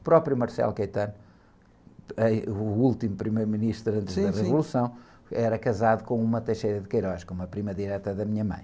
O próprio, eh, o último primeiro-ministro antes da Revolução...im, sim, sim.ra casado com uma, com uma prima direta da minha mãe.